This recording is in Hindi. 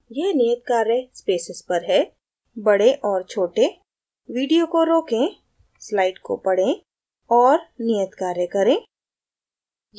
यह नियत कार्य spaces पर है – बड़े और छोटे video को रोकें slide को पड़ें और नियत कार्य करें